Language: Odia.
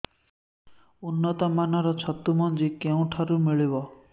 ଉନ୍ନତ ମାନର ଛତୁ ମଞ୍ଜି କେଉଁ ଠାରୁ ମିଳିବ